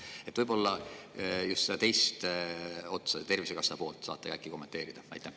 Äkki saate just seda teist poolt, Tervisekassa teemat kommenteerida?